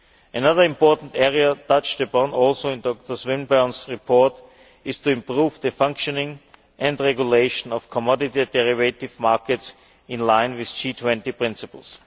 Another important area touched upon also in Dr Swinburne's report is to improve the functioning and regulation of commodity derivative markets in line with G20 principles.